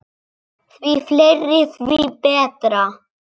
Því fleiri, því betra.